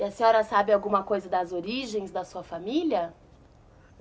E a senhora sabe alguma coisa das origens da sua família?